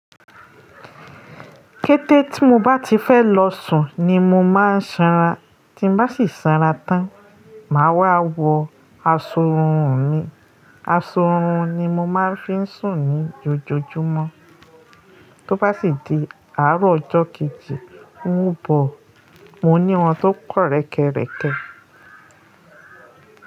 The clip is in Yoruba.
Kété tí mo bá ti fẹ́ lọ sùn ni mo má ń sanra, tí bá sì sanra tán, màá wá wọ aṣọ ọrùn mi. Aṣọ ọrùn ni mo máa ń fi ń sùn ní ojoojúmọ́. Tó bá sì di àárọ̀ ọjọ́ kejì ń bọ̀, mo ní wọn tó pọ̀ rẹ́kẹrẹkẹ.